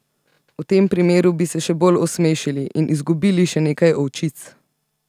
V tem primeru bi se še bolj osmešili in izgubili še nekaj ovčic.